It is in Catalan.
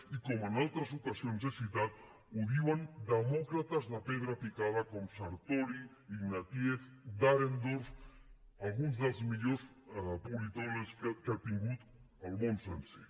i com en altres ocasions he citat ho diuen demòcrates de pedra picada com sartori ignatieff dahrendorf alguns dels millors politòlegs que ha tingut el món sencer